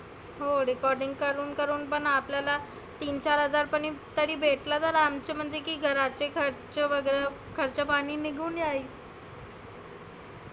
हो recording करुण करुण पण आपल्याला तीन चार हजार पर्यंत तरी भेटलं आमचे म्हणजे की घरातले खर्च वगैरे खर्चा पाणि निघुन जाईल.